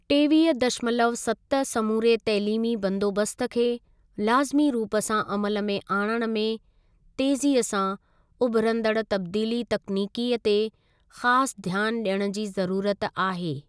टेवीह दशमलव सत समूरे तइलीमी बंदोबस्तु खे लाज़िमी रूप सां अमल में आणण में तेजीअ सां उभिरंदड़ तब्दीली तकनीकीअ ते ख़ासि ध्यान ॾियण जी ज़रूरत आहे।